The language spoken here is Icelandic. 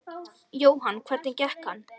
Jóhann: Hvernig gekk hann?